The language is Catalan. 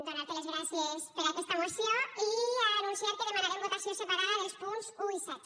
donar te les gràcies per aquesta moció i anunciar que demanarem votació separada dels punts un i set